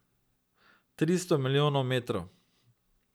Tristo milijonov metrov.